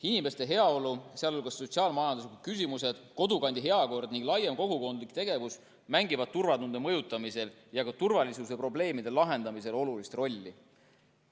Inimeste heaolu, sh sotsiaal-majanduslikud küsimused, kodukandi heakord ning laiem kogukondlik tegevus mängivad turvatunde mõjutamisel ja ka turvalisusprobleemide lahendamisel olulist rolli.